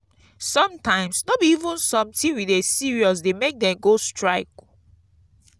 sometimes no be even sometin we dey serious dey make dem go strike.